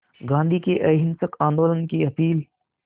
गांधी के अहिंसक आंदोलन की अपील